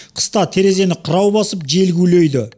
қыста терезені қырау басып жел гулейді